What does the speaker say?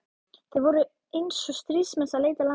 Þeir voru eins og stríðsmenn að leita landtöku.